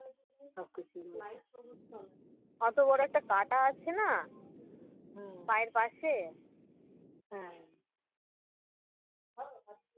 কত বড় কাঁটা আছেনা পায়ের পাশে